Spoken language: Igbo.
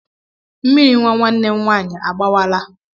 Mmiri nwa nwanne m nwaanyị agbawaala.